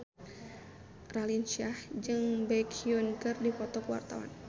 Raline Shah jeung Baekhyun keur dipoto ku wartawan